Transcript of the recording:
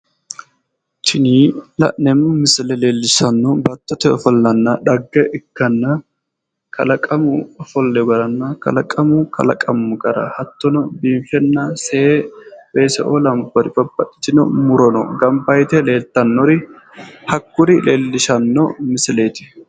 Tini la'neemmo misile leellishannohu baattote ofollanna addi addi dani dhaggenna kalaqamu ofollo leellishshanno misileeti